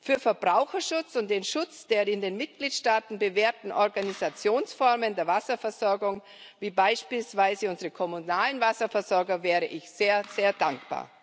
Für Verbraucherschutz und den Schutz der in den Mitgliedstaaten bewährten Organisationsformen der Wasserversorgung, wie beispielsweise unsere kommunalen Wasserversorger, wäre ich sehr, sehr dankbar.